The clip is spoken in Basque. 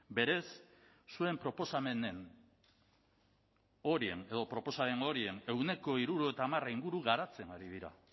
berez zuen proposamenen horien edo proposamen horien ehuneko hirurogeita hamar inguru garatzen ari dira